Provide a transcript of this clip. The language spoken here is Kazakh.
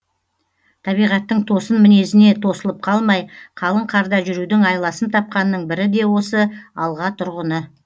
табиғаттың тосын мінезіне тосылып қалмай қалың қарда жүрудің айласын тапқанның бірі де осы алға тұрғыны